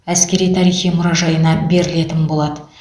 әскери тарихи мұражайына берілетін болады